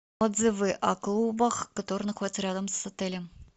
отзывы о клубах которые находятся рядом с отелем